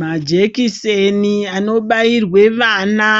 Majekiseni anobairwe vana